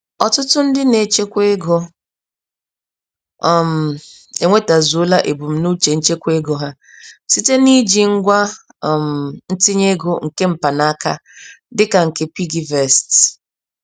Ọtụtụ ndị nechekwara ego, um enwetazuola ebum nuche nchekwa ego ha, site n'iji ngwa um ntinye ego nke mpanaka dịka nke piggyvest.